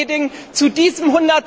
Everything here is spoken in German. Frau Reding, zu diesem